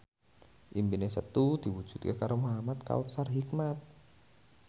impine Setu diwujudke karo Muhamad Kautsar Hikmat